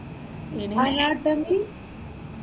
Minimum anatomy?